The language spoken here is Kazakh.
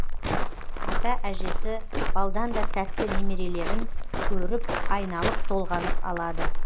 ата әжесі балдан да тәтті немерелерін көріп айналып толғанып алады